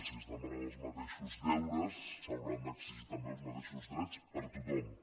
si es demanen els mateixos deures s’hauran d’exigir també els mateixos drets per a tothom